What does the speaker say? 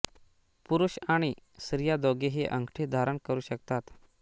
पुरुष आणि स्त्रिया दोघेही अंगठी धारण करू शकतात